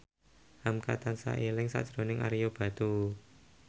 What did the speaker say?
hamka tansah eling sakjroning Ario Batu